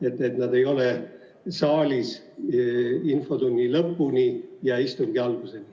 Nad ei pruugi olla saalis infotunni lõpuni ja istungi alguseni.